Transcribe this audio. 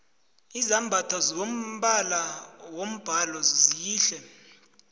izambatho zombala wombhalo zihle